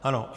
Ano.